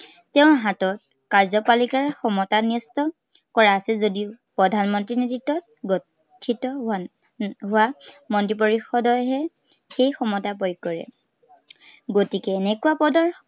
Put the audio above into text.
তেওঁৰ হাতত কাৰ্যপালিকাৰ ক্ষমতা ন্য়স্ত কৰা আছে যদিও প্ৰধানমন্ত্ৰীৰ নেতৃত্বত গঠিত হোৱা উম হোৱা মন্ত্ৰী পৰিষদৰহে সেই ক্ষমতা প্ৰয়োগ কৰে। গতিকে এনেকুৱা পদৰ